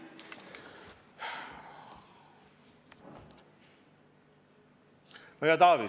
Hea Taavi!